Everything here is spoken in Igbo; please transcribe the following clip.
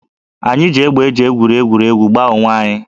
Anyị ji égbè e ji egwuri egwuregwu gbaa onwe anyị